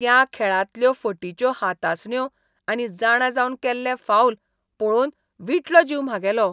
त्या खेळांतल्यो फटिच्यो हातासण्यो आनी जाणा जावन केल्ले फाऊल पळोवन विटलो जीव म्हागेलो.